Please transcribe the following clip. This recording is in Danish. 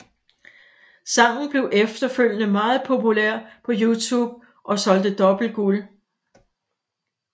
Sangen blev efterfølgende meget populær på YouTube og solgte dobbelt guld